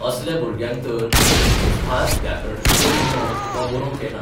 असल्या भुरग्यांक तर खंयचीच भास व्याकरणशुद्ध उलोवंक वा बरोवंक येना.